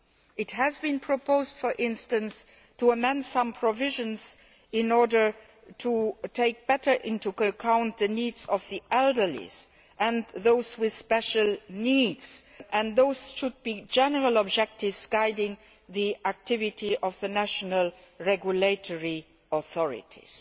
It has been proposed, for instance, to amend some provisions in order to take better account of the needs of the elderly and those with special needs, and those should be general objectives guiding the activity of the national regulatory authorities.